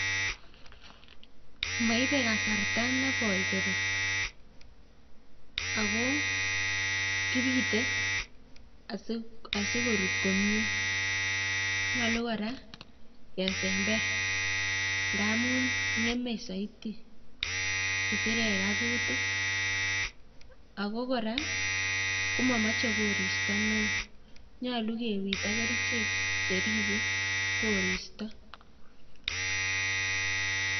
Maibe kasarta nekoi korur ako kibite asikorur komyie, nyolu kora kesember ngaamun ng'eme zaidi kisirek ak kutik ako kora komamache koristo neoo. nyolu kebit ak kerichek cheribe koristo